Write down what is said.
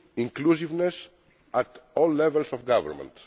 inclusiveness at all levels of government.